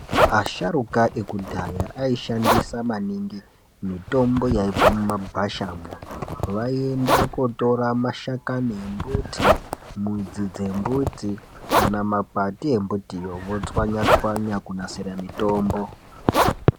Asharuka ekudhaya ayishandisa maningi mitombo yaibva mumagwashamwo. Vayienda kotora mashakani embuti, mudzi dzembuti, kana makwati embutiyo votswanya tswanya kunasira mitombo.